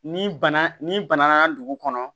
Ni bana ni bana dugu kɔnɔ